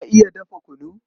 Ka iya dafa kunu?